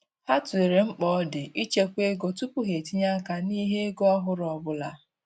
Ha tụlere mkpa ọ di ịchekwa ego tupu ha etinye-aka n'ihe ego ọhụrụ ọbụla.